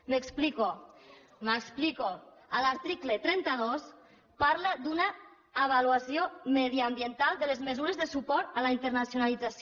m’explico m’explico a l’article trenta dos es parla d’una avaluació mediambiental de les mesures de suport a la internacionalització